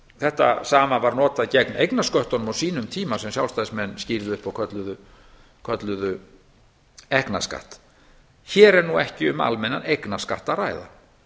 þetta sama var notað gegn eignarsköttunum á sínum tíma sem sjálfstæðismenn kölluðu ekknaskatt hér er nú ekki um að ræða almennan eignarskatt að ræða